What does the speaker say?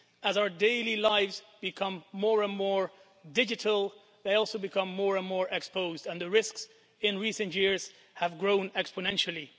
As our daily lives become more and more digital, they also become more and more exposed, and the risks in recent years have grown exponentially.